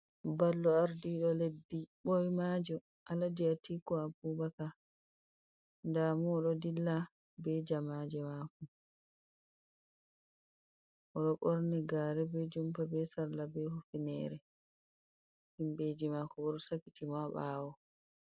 Mballo ardido leddi boimajo alaji atiku abubakar damo o do dilla be jamaje mako odo borni gare be jumpa be salla be hifinere himbeji mako bo do sakitimo ha bawo.